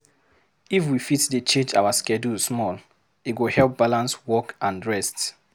If we fit dey change our schedule small, e go help balance work and rest.